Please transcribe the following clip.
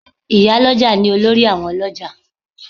Ì̀yálọ́jà ni olórí àwọn ọlọ́jà